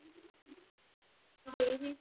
ਗਈ ਸੀ